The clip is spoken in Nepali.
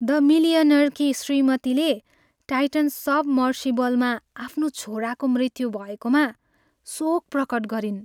द मिलियनेयरकी श्रीमतीले टाइटन सबमर्सिबलमा आफ्नो छोराको मृत्यु भएकोमा शोक प्रकट गरिन्।